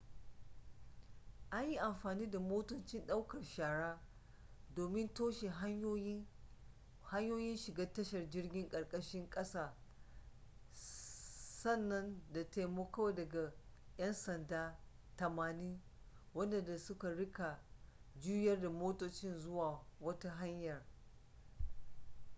an yi amfani da motocin ɗaukar shara domin toshe hanyoyin shiga tashar jirgin ƙarƙashin ƙasa sannan da taimako daga 'yansada 80 waɗanda za su riƙa juyar da motoci zuwa wata hanyar